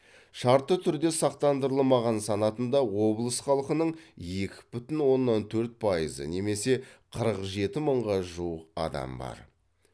шартты түрде сақтандырылмаған санатында облыс халқының екі бүтін оннан төрт пайызы немесе қырық жеті мыңға жуық адам бар